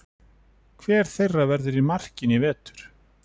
Hver þeirra verður í markinu í vetur?